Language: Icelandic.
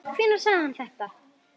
Hvenær sagði hann þetta?